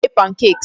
Ọ na-eme pancakes.